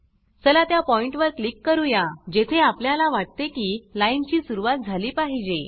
चला त्या पॉइण्ट वर क्लिक करूया जेथे आपल्याला वाटते की लाइन ची सुरवात झाली पाहिजे